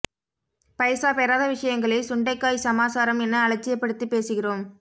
பைசா பெறாத விஷயங்களை சுண்டைக்காய் சமா சாரம் என அலட்சியப்படுத்திப் பேசுகிறோம்